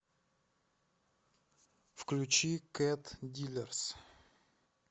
включи кэт дилерс